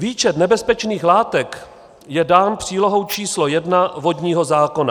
Výčet nebezpečných látek je dán přílohou č. 1 vodního zákona.